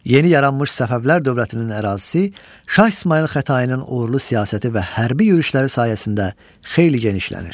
Yeni yaranmış Səfəvilər dövlətinin ərazisi Şah İsmayıl Xətainin uğurlu siyasəti və hərbi yürüşləri sayəsində xeyli genişlənir.